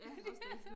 Ja også det